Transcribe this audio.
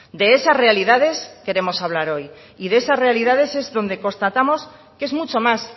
de esas realidades queremos hablar hoy y de esas realidades es donde constatamos que es mucho más